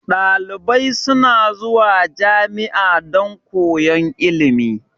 Dalibai suna zuwa jami'a dan koyan ilimi